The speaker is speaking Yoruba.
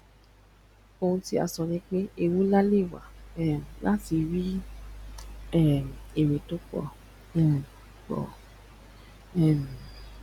ohun tí à n sọ nípé ewu lewà um láti ríi um èrè tó pọ um pọ um